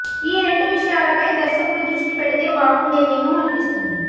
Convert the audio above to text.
ఈ రెండు విషయాలపై దర్శకుడు దృష్టి పెడితే బాగుండేదేమో అనిపిస్తుంది